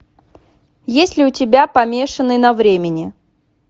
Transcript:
есть ли у тебя помешанный на времени